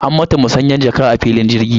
An mata masanyan jaka a filin jirgi.